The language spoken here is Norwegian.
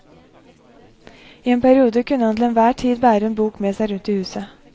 I en periode kunne han til enhver tid bære en bok med seg rundt i huset.